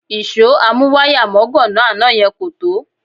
Ìṣó amúwáyàmọ́gàná àná yẹn kò tó